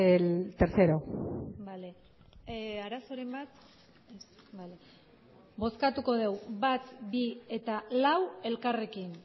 el tercero bale arazoren bat ez bale bozkatuko degu bat bi eta lau elkarrekin